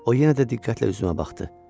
O yenə də diqqətlə üzümə baxdı.